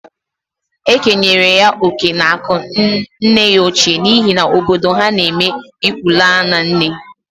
E kenyere ya oke n'akụ nne ya ochie n'ihi na obodo ha n'eme ịkwụ laa na nne.